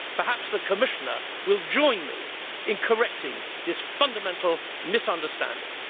Perhaps the Commissioner will join me in correcting this fundamental misunderstanding.